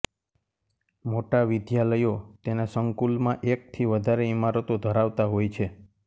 મોટા વિદ્યાલયો તેના સંકૂલમાં એક થી વધારે ઈમારતો ધરાવતા હોય છે